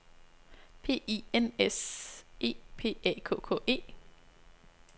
P I N S E P A K K E